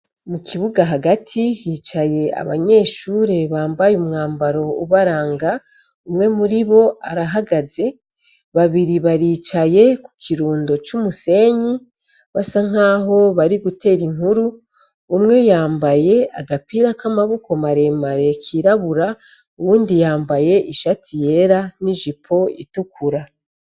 Mu kibuga hagati hicaye abanyeshure bambaye umwambaro ubaranga, umwe muri bo arahagaze, babiri baricaye ku kirundo c'umusenyi, basa nk'aho bari gutera inkuru umwe yambaye agapira k'amaboko maremare kirabura, uwundi yambaye ishati yera n'ijipo itukura.